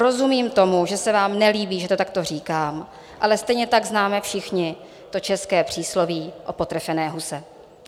Rozumím tomu, že se vám nelíbí, že to takto říkám, ale stejně tak známe všichni to české přísloví o potrefené huse.